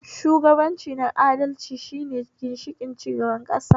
Shugabanci na adalci shine ginshiƙin cigabar ƙasa